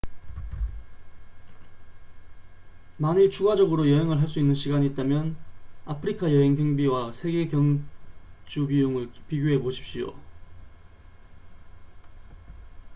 만일 추가적으로 여행을 할 수 있는 시간이 있다면 아프리카 여행경비와 세계 경 주비용을 비교해보십시오